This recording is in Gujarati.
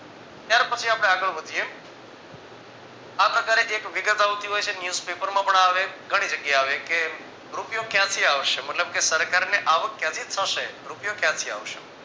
ત્યાર પછી આપણે આગળ વધીએ આ પ્રકારે એક વિગત આવતી હોઈ છે news paper માં પણ આવે ઘણી જગ્યાએ આવે કે રૂપિયો ક્યાંથી આવશે મતલબ કે સરકારને આવક ક્યાંથી થશે રૂપિયો ક્યાંથી આવશે